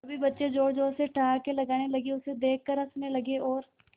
सभी बच्चे जोर जोर से ठहाके लगाने लगे उसे देख कर हंसने लगे और